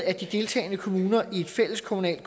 at de deltagende kommuner i et fælleskommunalt